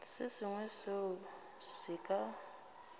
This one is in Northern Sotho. se sengwe seo se ka